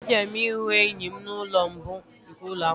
Ejere m ịhụ enyi m n'ụlọ mbụ nke ụlọ akwụkwọ